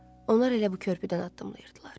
Onlar elə bu körpüdən addımlayırdılar.